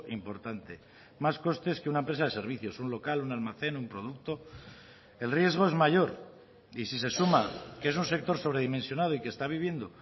importante más costes que una empresa de servicios un local un almacén un producto el riesgo es mayor y si se suma que es un sector sobredimensionado y que está viviendo